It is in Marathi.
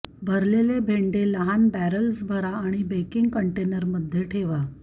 भरलेले भेंडे लहान बॅरल्स भरा आणि बेकिंग कंटेनरमध्ये ठेवा